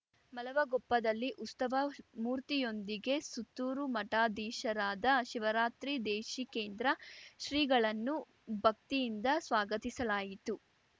ಮಲವಗೊಪ್ಪದಲ್ಲಿ ಉಸ್ತವ ಮೂರ್ತಿಯೊಂದಿಗೆ ಸುತ್ತೂರು ಮಠಾಧೀಶರಾದ ಶಿವರಾತ್ರಿ ದೇಶಿಕೇಂದ್ರ ಶ್ರೀಗಳನ್ನು ಭಕ್ತಿಯಿಂದ ಸ್ವಾಗತಿಸಲಾಯಿತು